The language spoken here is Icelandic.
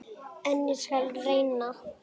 En ég skal reyna.